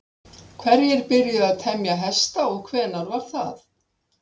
Hverjir byrjuðu að temja hesta og hvenær var það?